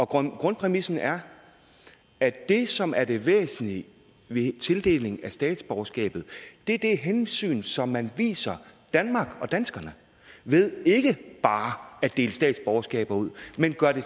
grundpræmissen er at det som er det væsentlige ved tildeling af statsborgerskabet er det hensyn som man viser danmark og danskerne ved ikke bare at dele statsborgerskaber ud men at gøre det